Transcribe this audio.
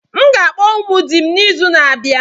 M ga-akpọ ụmụ di m n'izu na-abịa.